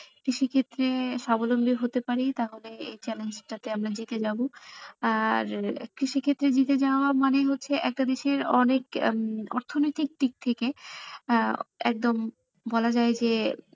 কৃষি ক্ষেত্রে সাবলম্বি হতে পারি তাহলে এই challenge টা তে আমরা জিতে যাবো আর কৃষি ক্ষেত্রে জিতে যাওয়া মানে হচ্ছে একটা দেশের অনেক উম অর্থনীতিক দিক থেকে আহ একদম বলা যায় যে,